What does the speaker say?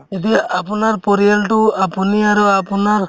এতিয়া আপোনাৰ পৰিয়ালতো আপুনি আৰু আপোনাৰ